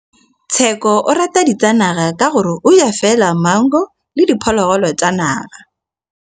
Tshekô o rata ditsanaga ka gore o ja fela maungo le diphologolo tsa naga.